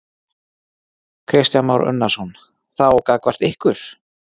Kristján Már Unnarsson: Þá gagnvart ykkur?